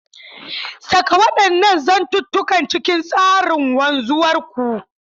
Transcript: Saƙa waɗannan zantukan cikin tsarin wanzuwar ku.